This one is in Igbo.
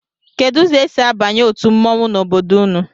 Kedụ ụzọ e si abanye otu mmọnwụ n'obodo unu?